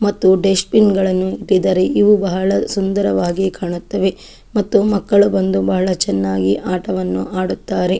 ಮತ್ತು dustbin ಗಳನ್ನು ಇಟ್ಟಿದ್ದಾರೆ. ಇವು ಬಹಳ ಸುಂದರವಾಗಿ ಕಾಣುತ್ತವೆ ಮತ್ತು ಮಕ್ಕಳು ಬಂದು ಬಹಳ ಚೆನ್ನಾಗಿ ಆಟವನ್ನು ಆಡುತ್ತಾರೆ.